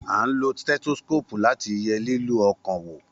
A ń lo stẹ́tósíkòpù láti ye lílù ọkàn wò